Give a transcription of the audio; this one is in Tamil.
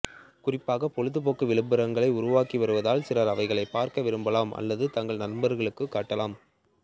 குறிப்பாக பொழுதுபோக்கு விளம்பரங்கள் உருவாகி வருவதால் சிலர் அவைகளை பாக்க விரும்பலாம் அல்லது தங்கள் நண்பர்களுக்கு காட்டலாம்